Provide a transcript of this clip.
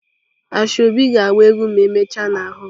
Asoebi ga agba egwu ma emechaa na hoolụ.